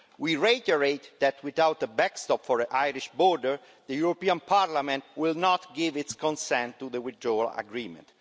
We reiterate that without a backstop for the Irish border, the European Parliament will not give its consent to the withdrawal agreement.